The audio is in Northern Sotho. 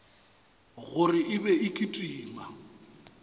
gore e be e kitima